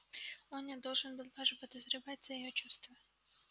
он не должен был даже подозревать о её чувстве